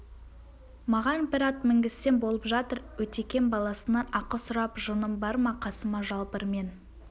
маған бір ат мінгізсең болып жатыр өтекем баласынан ақы сұрап жыным бар ма қасыма жалбыр мен